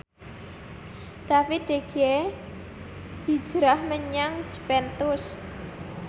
David De Gea hijrah menyang Juventus